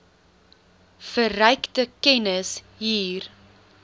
verrykte kennis hier